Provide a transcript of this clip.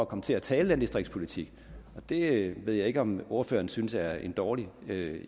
komme til at tale landdistriktspolitik det ved jeg ikke om ordføreren synes er en dårlig